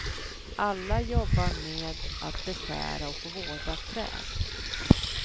Alla jobbar med att beskära och vårda träd.